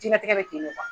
Diɲɛnatigɛ bɛ ten de